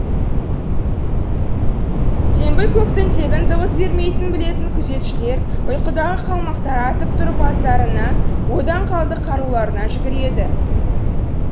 теңбіл көктің тегін дыбыс бермейтінін білетін күзетшілер ұйқыдағы қалмақтар атып тұрып аттарына одан қалды қаруларына жүгіреді